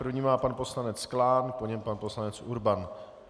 První má pan poslanec Klán, po něm pan poslanec Urban.